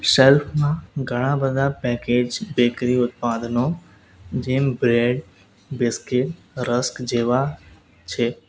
Shelf માં ઘણા-બધા package bakery ઉત્પાદનો જેમ બ્રેડ બિસ્કીટ રસ્ક જેવા છે.